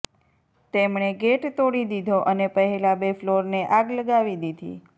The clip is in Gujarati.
તેમણે ગેટ તોડી દીધો અને પહેલા બે ફ્લોરને આગ લગાવી દીધી